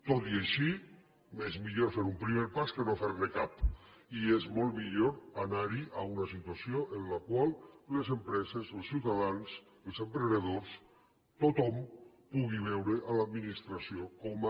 tot i així és millor fer un primer pas que no fer ne cap i és molt millor anar a una situació en la qual les empreses els ciutadans els emprenedors tothom pugui veure l’administració com a